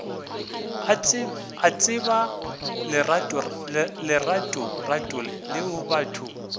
a tseba leratorato leo batho